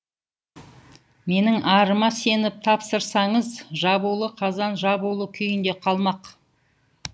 менің арыма сеніп тапсырсаңыз жабулы қазан жабулы күйінде қалмақ